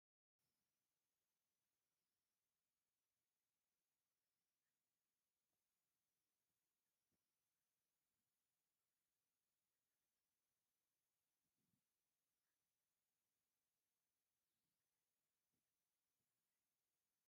ክልተ ምዕሩግ ጥልፊ ዓለባ ዓዲ ዝተኸደና መናእሰይ ኣብ ውሽጢ ገዛ ብፍቕሪ ተጣቢቐን ፎቶ ተላዒለን እኔዋ፡፡ ዓለባ ዓዲ እንብሎ ካበይ ከምዝስራሕ ትፈልጡ ዶ?